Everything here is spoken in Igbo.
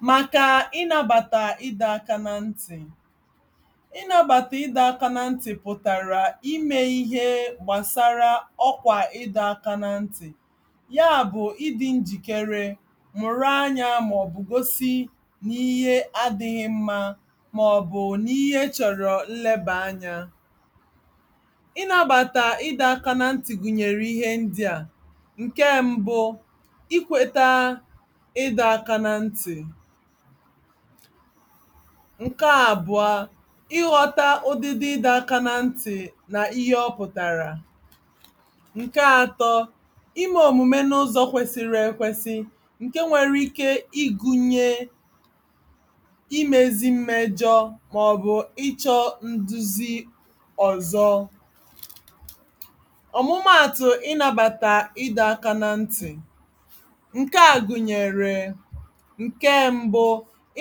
màkà ị nabàtà ịdọ aka na ntị̀ ị nabàtà ịdọ aka na ntị pụ̀tara ime ihe gbasàrà ọkwà ịdọ aka na ntị yaa bụ̀ ị dị njìkere mụ̀rụ anya màọbụ̀ gosi n'ihe adịghị mma màọbụ̀ n'ihe chọ̀rọ̀ nlebà anya ị nabàtà ịdọ aka na ntị gụ̀nyèrè ihe ndị a ǹke mbụ i kweta ị́dọ aka na ntị ǹke àbụ̀ọ ị ghọta ụ̀dị́dị́ ịdọ aka na ntị na ihe ọ pʊ̀tàrà ǹke atọ ime òmume n'ụzọ̀ kwesiri èkwesi ǹke nwere ike ịgụnye imezi mmejọ màọbụ̀ ịchọ nduzi ọ̀zọ ọ̀mụmaatụ̀ ị nabàtà ịdọ aka na ntì ǹke a gụ̀nyèrè ǹke mbụ